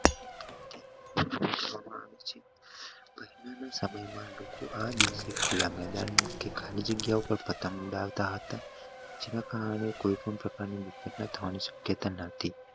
આ દીવે ખુલના મેદાન માં કે ખાલી જગ્યા ઉપર પતંગ ઉડાવતા હાટ જેના કારણે કોઈપણ પ્રકાર ની મતભેદો થવાની શક્યતા નથી